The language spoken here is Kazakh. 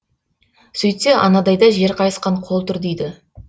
сөйтсе анадайда жер қайысқан қол тұр дейді